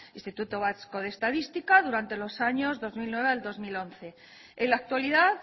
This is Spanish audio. instituto vasco de estadística durante los años dos mil nueve dos mil once en la actualidad